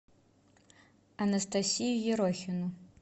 анастасию ерохину